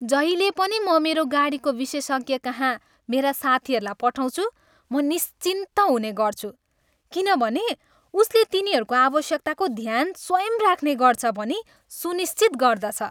जहिले पनि म मेरो गाडीको विशेषज्ञकहाँ मेरा साथीहरूलाई पठाउँछु म निश्चिन्त हुने गर्छु, किनभने उसले तिनीहरूको आवश्यकताको ध्यान स्वयं राख्ने गर्छ भनी सुनिश्चित गर्दछ।